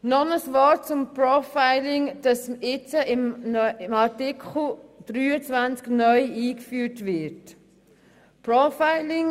Noch ein Wort zum Profiling, das unter Artikel 23 neu eingeführt werden soll: